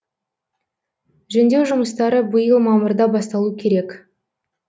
жөндеу жұмыстары биыл мамырда басталу керек